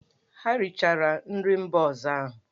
Ha richara nri mba ọzọ ahụ!